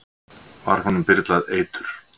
var honum byrlað eitur